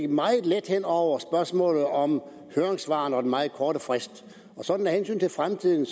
meget let hen over spørgsmålet om høringssvarene og den meget korte frist af hensyn til fremtiden